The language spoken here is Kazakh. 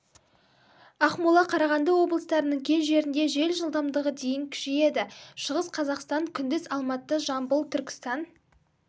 ақмола қарағанды облыстарының кей жерінде жел жылдамдығы дейін күшейеді шығыс қазақстан күндіз алматы жамбыл түркістан